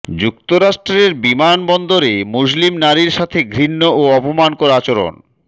যুক্তরাষ্ট্রের বিমান বন্দরে মুসলিম নারীর সাথে ঘৃণ্য ও অপমানকর আচরণ